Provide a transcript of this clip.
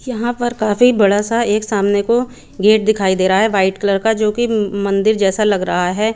यहां पर काफी बड़ा सा एक सामने को गेट दिखाई दे रहा है वाइट कलर का जोकि मंदिर जैसा लग रहा है।